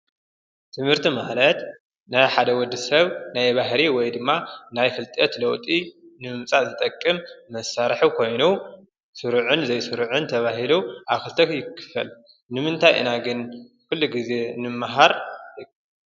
ትምህርቲ ማለት ናይ ሓደ ወዲ ሰብ ናይ ባህሪ ወይ ድማ ናይ ፍልጠት ለውጢ ምምፃእ ዝጠቅም መሳርሒ ኮይኑ ስሩዕን ዘይሱሩዕን ተባሂሉ ኣብ ክልተ ይክፈል። ንምንታይ ኢና ግና ኩሉ ግዜ ንማሃር?